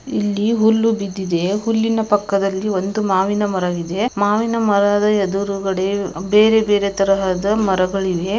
ಇಲ್ಲಿ ಹುಲ್ಲು ಬಿದ್ದಿದೆ. ಹುಲ್ಲಿನ ಪಕ್ಕದಲ್ಲಿ ಒಂದು ಮಾವಿನ ಮರವಿದೆ. ಮಾವಿನ ಮರದ ಎದುರುಗಡೆ ಅ- ಬೇರೆ ಬೇರೆ ತರಹದ ಮರಗಳಿವೆ.